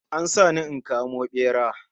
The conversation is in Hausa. An sa ni in kamo bera